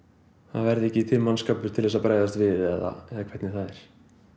það verði ekki til mannskapur til að bregðast við eða hvernig það er